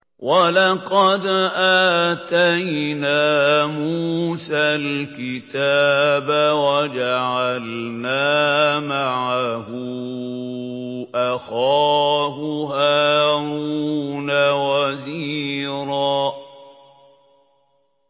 وَلَقَدْ آتَيْنَا مُوسَى الْكِتَابَ وَجَعَلْنَا مَعَهُ أَخَاهُ هَارُونَ وَزِيرًا